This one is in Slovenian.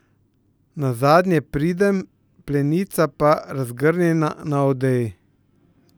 Nazadnje pridem, plenica pa razgrnjena na odeji.